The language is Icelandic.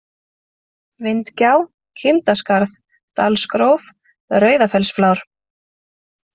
Vindgjá, Kindaskarð, Dalsgróf, Rauðafellsflár